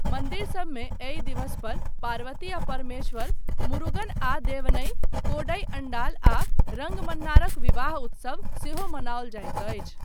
मन्दिरसबमे एहि दिवस पर पार्वती आ परमेश्वर, मुरुगन आ दैवनइ, कोडइ अण्डाल आ रङ्गमन्नारक विवाह उत्सव सेहो मनाओल जाइत अछि।